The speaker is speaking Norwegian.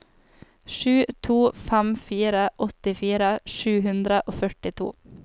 sju to fem fire åttifire sju hundre og førtito